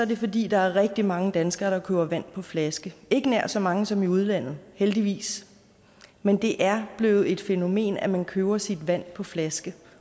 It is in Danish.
det fordi der er rigtig mange danskere der køber vand på flaske ikke nær så mange som i udlandet heldigvis men det er blevet et fænomen at man køber sit vand på flaske